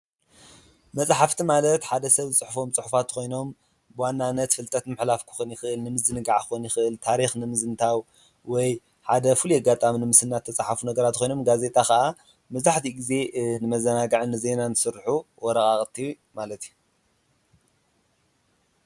መፅሓፍቲ ማለት ሓደ ሰብ ዝፅሕፎም ፅሑፋት ኮይኖም ብዋናነት ፍልጠት ንምሕላፍ ክኾን ይክእል ፣ንምዝንጋዕ ክኾን ይክእል፣ ታሪክ ንምዝንታው ወይ ሓደ ፍሉይ አጋጣሚ ንምስናድ ዝተፀሓፉ ነገራት ኮይኖም ጋዜጣ ከዓ መብዛሕትኡ ግዘ ንመዘናግዕን ንዜናን ዝስርሑ ወረቃቅቲ ማለት እዩ ።